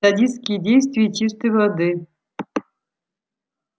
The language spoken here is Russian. садистские действия чистой воды